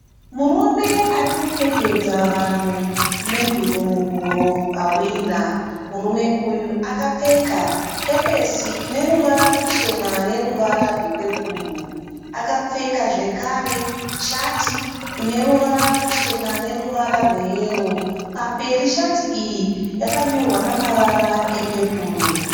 Murume arikupfekedza vanhu menduru muhuro vahwina. Murume uyu akapfeka kepesi ineruvara ruchena neruvara rwepepuru. Akapfeka zvekare shati ine ruvara ruchena neruvara rwe yero. Pamberi shati iyi yakanyorwa namavara epepuru.